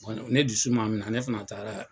ne dusu maa minɛ ne fana taara.